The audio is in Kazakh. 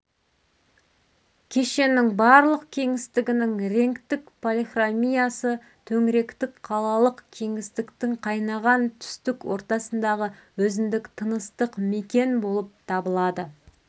кешеннің барлық кеңістігінің реңктік полихромиясы төңіректік қалалық кеңістіктің қайнаған түстік ортасындағы өзіндік тыныстық мекен болып табылады